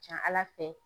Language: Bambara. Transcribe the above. Ca ala fɛ